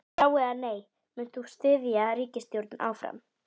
Já, eða nei, munt þú styðja ríkisstjórnina áfram?